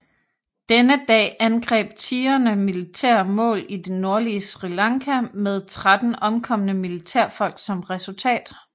Denne dag angreb Tigrene militære mål i det nordlige Sri Lanka med 13 omkomne militærfolk som resultat